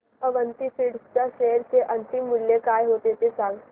Avanti feeds च्या share चे अंतिम मूल्य काय होते ते सांगा